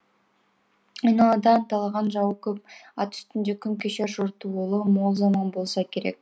айналада анталаған жауы көп ат үстінде күн кешер жортуылы мол заман болса керек